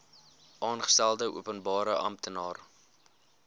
aangestelde openbare amptenaar